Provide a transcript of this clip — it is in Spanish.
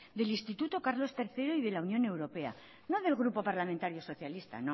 del instituto carlos tercero y de la unión europea no del grupo parlamentario socialista